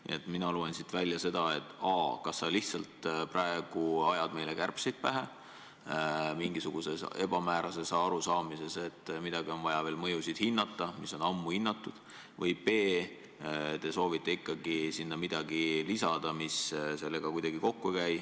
Nii et mina loen siit välja seda, et a) kas sa lihtsalt praegu ajad meile kärbseid pähe mingisuguses ebamäärases arusaamises, et on vaja veel mõjusid hinnata, mis on ammu tehtud, või b) te soovite ikkagi lisada sinna midagi, mis sellega kuidagi kokku ei käi.